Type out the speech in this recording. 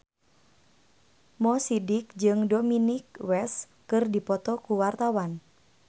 Mo Sidik jeung Dominic West keur dipoto ku wartawan